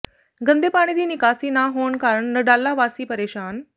ਗੰਦੇ ਪਾਣੀ ਦੀ ਨਿਕਾਸੀ ਨਾ ਹੋਣ ਕਾਰਨ ਨਡਾਲਾ ਵਾਸੀ ਪ੍ਰੇਸ਼ਾਨ